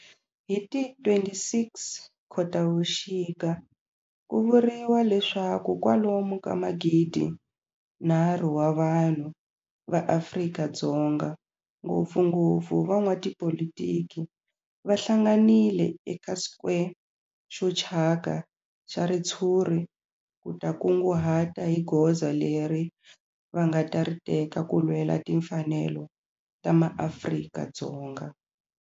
Hi ti 26 Khotavuxika ku vuriwa leswaku kwalomu ka magidi-nharhu wa vanhu va Afrika-Dzonga, ngopfungopfu van'watipolitiki va hlanganile eka square xo thyaka xa ritshuri ku ta kunguhata hi goza leri va nga ta ri teka ku lwela timfanelo ta maAfrika-Dzonga.